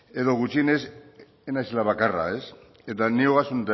edo gutxienez ez naizela bakarra eta ni ogasun